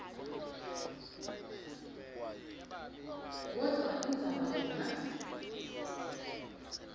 kodvwa indzaba yona